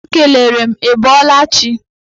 Ọ kelere m ị bọọla chi.